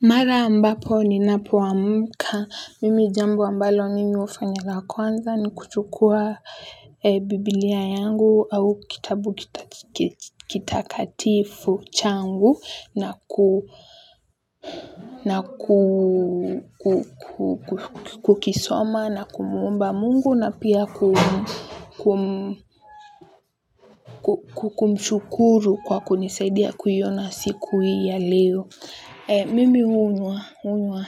Mara ambapo ninapoamka, mimi jambo ambalo mimi hufanya la kwanza ni kuchukua biblia yangu au kitabu kitakatifu changu na kukisoma na kumuomba mungu na pia kumshukuru kwa kunisaidia kuiona siku hii ya leo. Mimi huwa hunywa